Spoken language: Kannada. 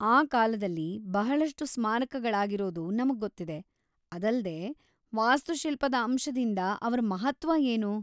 ಆ ಕಾಲದಲ್ಲಿ ಬಹಳಷ್ಟು ಸ್ಮಾರಕಗಳಾಗಿರೋದು ನಮಗೊತ್ತಿದೆ; ಅದಲ್ದೇ, ವಾಸ್ತುಶಿಲ್ಪದ ಅಂಶದಿಂದ ಅವ್ರ ಮಹತ್ವ ಏನು?